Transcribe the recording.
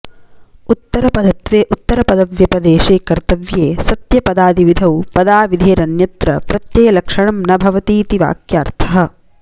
उत्तरपदत्वे उत्तरपदव्यपदेशे कत्र्तव्ये सत्यपदादिविधौ पदाविधिधेरन्यत्र प्रत्ययलक्षणं न भवतीति वाक्यार्थः